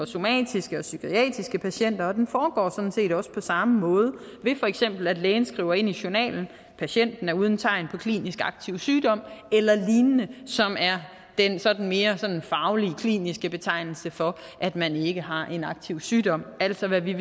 somatiske og psykiatriske patienter og den foregår sådan set også på samme måde ved for eksempel at lægen skriver ind i journalen at patienten er uden tegn på klinisk aktiv sygdom eller lignende som er den sådan mere faglige kliniske betegnelse for at man ikke har en aktiv sygdom altså hvad vi